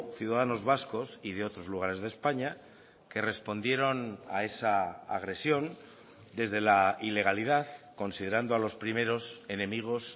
ciudadanos vascos y de otros lugares de españa que respondieron a esa agresión desde la ilegalidad considerando a los primeros enemigos